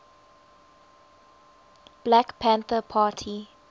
black panther party